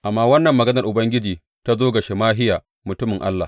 Amma wannan maganar Ubangiji ta zo ga Shemahiya mutumin Allah.